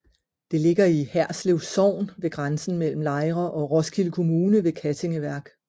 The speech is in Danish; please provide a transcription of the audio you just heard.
Det ligger i Herslev Sogn ved grænsen mellem Lejre og Roskilde Kommune ved Kattinge Værk